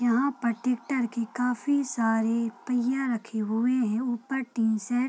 यहां पर ट्रैक्टर के काफी सारे पहिया रखे हुए हैं ऊपर टीन शेड --